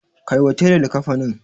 Kai wa tela likkafanin.